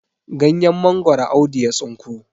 ganyen mangoro Audu ya tsinko